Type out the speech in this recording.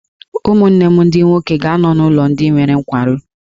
Ụmụnne m ndị nwoke ga-anọ n’ụlọ ndị nwere nkwarụ.